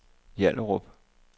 Hjallerup